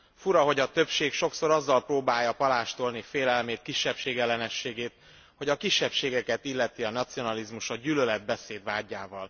Fura, hogy a többség sokszor azzal próbálja palástolni félelmét, kisebbségellenességét, hogy a kisebbségeket illeti a nacionalizmus, a gyűlöletbeszéd vádjával.